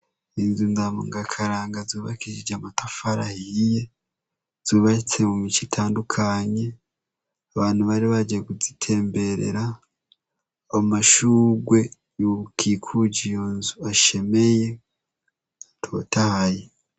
Inzu ndabungakaranga zubakishije amatafari ahiye. Zubatse mu mice itandukanye, abantu bari bahejeje kuzitemberera. Amashugwe yokikuje iyo nzu ashemeye atotahaye.